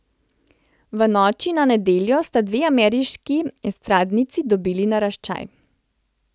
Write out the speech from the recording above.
V noči na nedeljo sta dve ameriški estradnici dobili naraščaj.